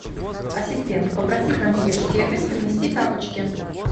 ассистент попроси консьерж сервис принести тапочки